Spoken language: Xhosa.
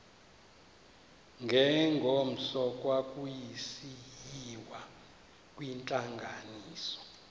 ngengomso kwakusiyiwa kwintlanganiso